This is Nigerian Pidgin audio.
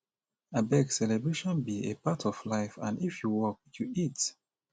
abeg celebration be a part of life and if you work you eat